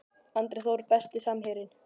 Andri Þór Besti samherjinn?